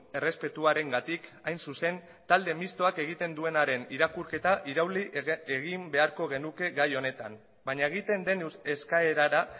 errespetuarengatik hain zuzen talde mistoak egiten duenaren irakurketa irauli egin beharko genuke gai honetan baina egiten den eskaerara